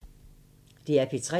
DR P3